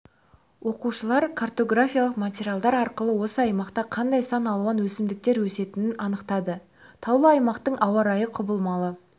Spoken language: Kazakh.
оқушылар картографиялық материалдар арқылы осы аймақта қандай сан алуан өсімдіктер өсетінін анықтады таулы аймақтың ауа-райы құбалмалы